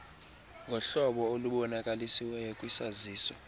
ngohlobo olubonakalisiweyo kwisaziso